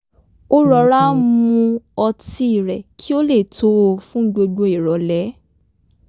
ó rọra ń mu ọtí rè̩ kí ó lè tó o fún gbogbo ìrọ̀lẹ́